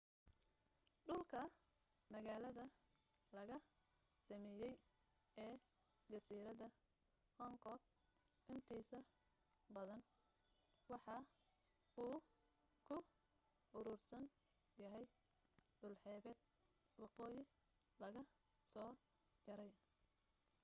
dhulka magaalada laga sameeyay ee jasiirada hong kong intiisa badan waxa uu ku uruursan yahay dhul xeebta waqooyi laga soo jaray